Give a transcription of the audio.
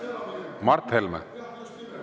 Mart Helme!